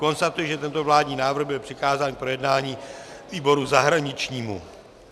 Konstatuji, že tento vládní návrh byl přikázán k projednání výboru zahraničnímu.